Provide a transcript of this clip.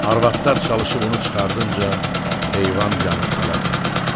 Arvadlar çalışıb onu çıxardınca heyvan yanıb tələf oldu.